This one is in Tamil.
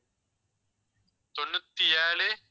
தொண்ணூற்றி ஏழு